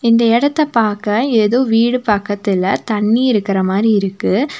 இந்த எடத்த பாக்க ஏதோ வீடு பக்கத்துல தண்ணி இருக்கற மாரி இருக்கு.